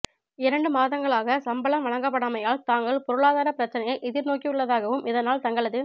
இரண்டு மாதங்களாக சம்பளம் வழங்கப்படாமையால் தாங்கள் பொருளாதார பிரச்சினையை எதிர்நோக்கியுள்ளதாகவும் இதனால் தங்களது